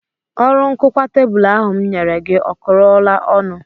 Ọrụ nkụkwa tebụl ahụ m nyere gị ọ kụrụla ọnụ